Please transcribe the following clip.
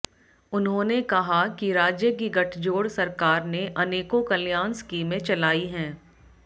उन्होंने कहा कि राज्य की गठजोड़ सरकार ने अनेकों कल्याण स्कीमें चलाई हैं